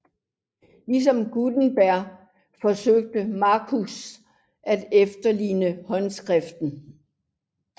Ligesom Gutenberg forsøgte Manutius at efterligne håndskriften